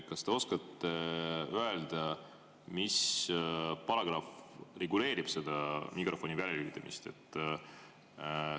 Kas te oskate öelda, mis paragrahv reguleerib seda mikrofoni väljalülitamist?